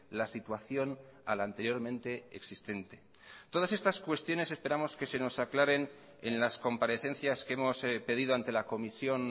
la situación a la anteriormente existente todas estas cuestiones esperamos que se nos aclaren en las comparecencias que hemos pedido ante la comisión